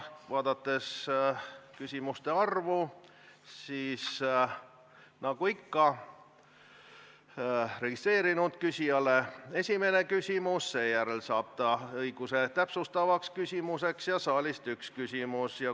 Vaadates küsimuste arvu, ütlen, et nagu ikka, registreerunud küsija esitab esimese küsimuse, seejärel saab ta õiguse esitada täpsustav küsimus ja saalist saab esitada ühe küsimuse.